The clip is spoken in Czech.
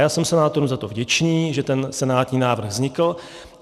Já jsem senátorům za to vděčný, že ten senátní návrh vznikl.